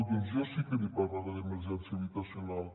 doncs jo sí que n’hi parlaré d’emergència habitacional